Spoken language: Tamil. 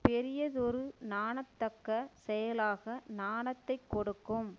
பெரியதொரு நாணத்தக்கச் செயலாக நாணத்தைக் கொடுக்கும்